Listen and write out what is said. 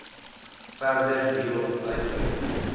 verder hierop uitbrei